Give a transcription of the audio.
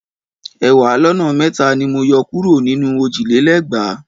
Ẹ̀wàá lọ́nà mẹ́ta ni mo yọ kúrò nínú òjì lé lẹ́gbàá.